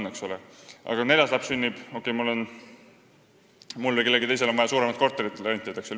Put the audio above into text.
Aga kui mul või kellelgi teisel neljas laps sünnib, siis on vaja suurem korter rentida, jne.